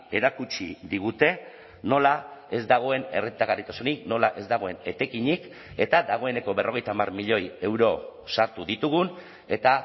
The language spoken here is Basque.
erakutsi digute nola ez dagoen errentagarritasunik nola ez dagoen etekinik eta dagoeneko berrogeita hamar milioi euro sartu ditugun eta